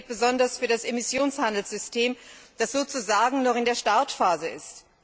Das gilt besonders für das Emissionshandelssystem, das sozusagen noch in der Startphase ist.